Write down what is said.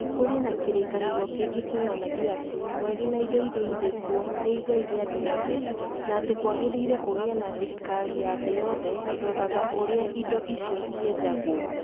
kũrĩ na kĩrĩkanĩro kĩngĩ kĩonanagia atĩ "Mweri na indo iria irĩ kuo nĩ igai rĩa andũ othe" na atĩ nĩ kwagĩrĩire kũgĩe na thirikari ya thĩ yothe ĩroraga ũrĩa indo icio ciejagwo.